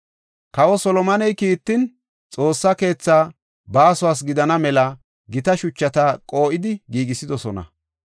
Kawa Solomone kiitan, Xoossa keethaa baasuwas gidana mela gita shuchata qoo7idi giigisidosona.